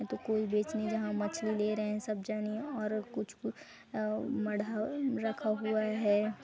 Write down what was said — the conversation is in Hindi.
कोई बेच नहीं रहा मछली ले रहे है सब जानी और अ कुछ - कुछ मढ़ा रखा हुआ हैं।